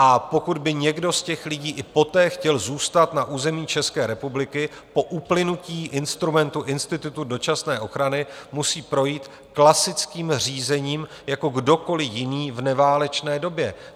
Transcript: A pokud by někdo z těch lidí i poté chtěl zůstat na území České republiky, po uplynutí instrumentu institutu dočasné ochrany, musí projít klasickým řízením jako kdokoli jiný v neválečné době.